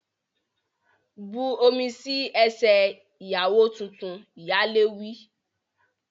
Bu omi sí ẹsẹ̀ ìyàwó tuntun! Ìyálé wí.